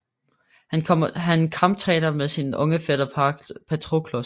Han kamptræner med sin unge fætter Patroklos